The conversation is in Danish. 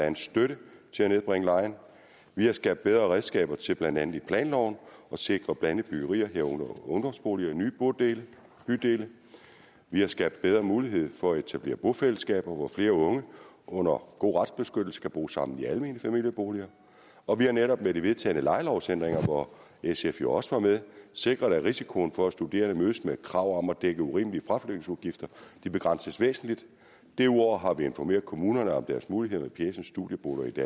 en støtte til at nedbringe lejen vi har skabt bedre redskaber til blandt andet i planloven at sikre blandede byggerier herunder ungdomsboliger i nye bydele vi har skabt bedre mulighed for at etablere bofællesskaber hvor flere unge under god retsbeskyttelse kan bo sammen i almene familieboliger og vi har netop med de vedtagne lejelovsændringer hvor sf jo også var med sikret at risikoen for at studerende mødes med et krav om at dække urimelige fraflytningsudgifter begrænses væsentligt derudover har vi informeret kommunerne om deres muligheder med pjecen studieboliger i